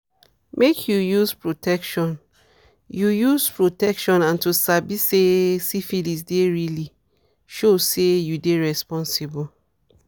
make you use protection you use protection and to sabi say syphilis dey really show say you dey responsible